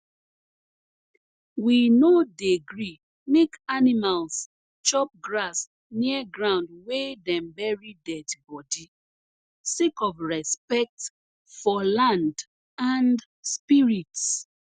we no dey gree make animals chop grass near ground wey dem bury dead body sake of respect for land and spirits